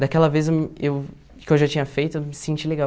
Daquela vez eu eu que eu já tinha feito, eu me senti legal.